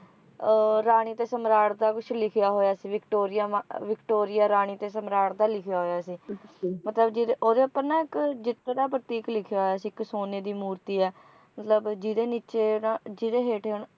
ਅਹ ਰਾਣੀ ਤੇ ਸਮਰਾਟ ਦਾ ਕੁਝ ਲਿਖਿਆ ਹੋਇਆ ਸੀ ਵਿਕਟੋਰੀਆ ਵਿਕਟੋਰੀਆ ਰਾਣੀ ਤੇ ਸਮਰਾਟ ਦਾ ਲਿਖਿਆ ਹੋਇਆ ਸੀ ਮਤਲਬ ਜਿਹਦੇ ਓਹਦੇ ਉੱਪਰ ਨਾ ਇੱਕ ਜਿੱਤ ਦਾ ਪ੍ਰਤੀਕ ਲਿਖਿਆ ਹੋਇਆ ਸੀ ਇੱਕ ਸੋਨੇ ਦੀ ਮੂਰਤੀ ਹੈ ਮਤਲਬ ਜਿਹਦੇ ਨੀਚੇ ਜਿਹਦੇ ਹੇਠਾਂ